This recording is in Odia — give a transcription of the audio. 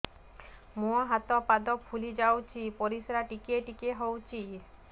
ମୁହଁ ହାତ ପାଦ ଫୁଲି ଯାଉଛି ପରିସ୍ରା ଟିକେ ଟିକେ ହଉଛି